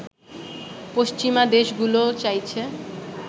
পশ্চিমা দেশগুলো চাইছে